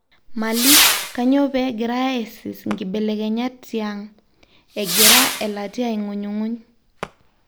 Mali:Kanyio pee egirae aisis nkibekelenyat tiang, Egira elatia aingunyunguny.